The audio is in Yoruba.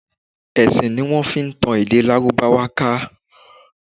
Ẹ̀sìn ní wọ́n fi tan èdè Lárúbáwá ká.